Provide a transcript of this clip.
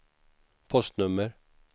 postnummer